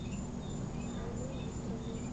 айной викторовной